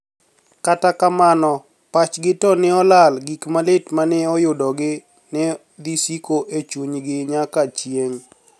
Kata kamano, pachgi to ni e olal gik malit ma ni e oyudogi ni e dhi siko e chuniye niyaka chienig'.